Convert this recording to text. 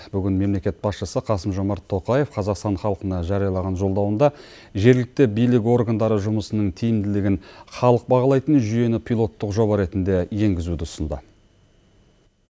бүгін мемлекет басшысы қасым жомарт тоқаев қазақстан халқына жариялаған жолдауында жергілікті билік органдары жұмысының тиімділігін халық бағалайтын жүйені пилоттық жоба ретінде енгізуді ұсынды